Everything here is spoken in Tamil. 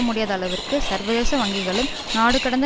முடியாத அளவிற்கு சர்வதேச வங்கிகளும் நாடு கடந்த